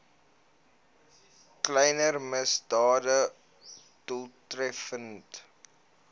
kleiner misdade doeltreffend